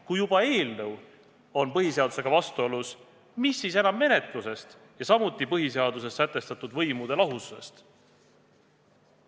Kui juba eelnõu on põhiseadusega vastuolus, mis siis enam menetlusest ja samuti põhiseaduses sätestatud võimude lahususest!